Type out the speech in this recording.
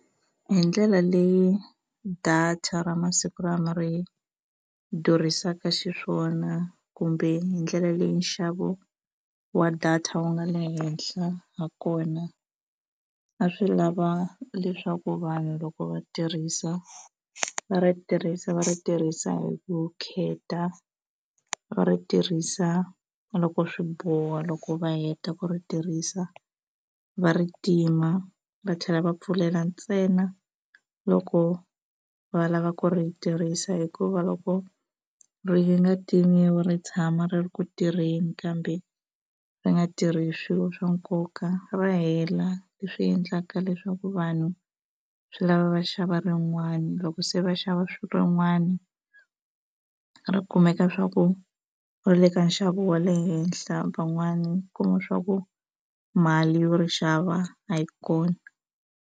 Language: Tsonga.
Hi ndlela leyi data ra masiku lama ri durhisaka xiswona kumbe hi ndlela leyi nxavo wa data wu nga le henhla ha kona a swi lava leswaku vanhu loko va tirhisa va ri tirhisa va ri tirhisa hi vukheta va ri tirhisa loko swi boha loko va heta ku ri tirhisa va ri tima va tlhela va pfulela ntsena loko va lava ku ri tirhisa hikuva loko ri nga timiwi ri tshama ri ri ku tirheni kambe ri nga tirhi swilo swa nkoka ra hela leswi endlaka leswaku vanhu swi lava va xava rin'wana loko se va xava rin'wana ri kumeka swa ku va le ka nxavo wa le henhla van'wani u kuma swa ku mali yo ri xava a yi kona.